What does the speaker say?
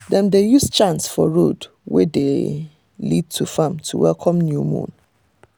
dem dey use chants for road wey dey lead to farm to welcome new moon.